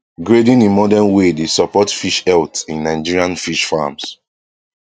grading in modern way dey support fish health in nigerian fish farms